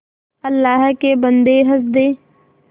अल्लाह के बन्दे हंस दे